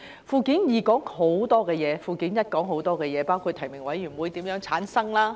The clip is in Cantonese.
附件二涵蓋很多事項，附件一亦涵蓋很多事項，包括選舉委員會如何產生。